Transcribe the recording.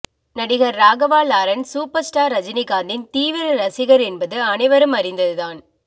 நடிகர் Raghava Lawrence super star ரஜினிகாந்தின் தீவிர ரசிகர் என்பது அனைவரும் அறிந்தது தான்